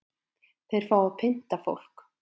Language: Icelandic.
Þeir fá að pynta fólk